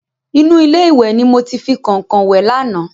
Inú ilé ìwẹ̀ ni mo ti fi kọ̀nkọ̀n wẹ̀ lánàá.